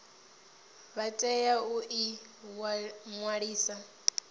vha tea u ḓi ṅwalisa